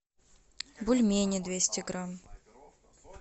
бульмени двести грамм